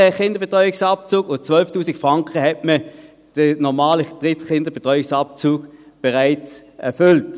Beim Kinderbetreuungsabzug mit 12’000 Franken hat man den normalen Kinderdrittbetreuungsabzug bereits erfüllt.